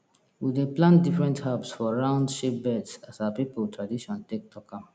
we dey plant different herbs for round shape beds as our people tradition take talk am